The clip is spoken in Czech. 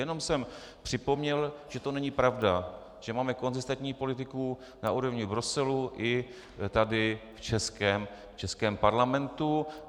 Jenom jsem připomněl, že to není pravda, že máme konzistentní politiku na úrovni Bruselu i tady v českém parlamentu.